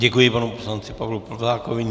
Děkuji panu poslanci Pavlu Plzákovi.